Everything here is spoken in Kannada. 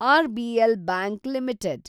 RBL bank limited